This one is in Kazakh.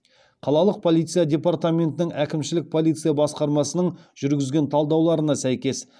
қалалық полиция департаментінің әкімшілік полиция басқармасының жүргізген талдауларына сәйкес